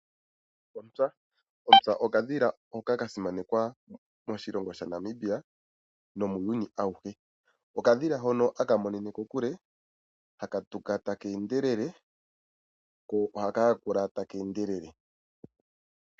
Ontsa okadhila hoka kasimanekwa moshilongo shaNamibia nomuuyuni awuhe. Okadhila hono haka monene kokule, haka tuka ta keendelele ko ohaka yakula takeendelele.